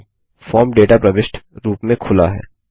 अब form data प्रविष्ट रूप में खुला है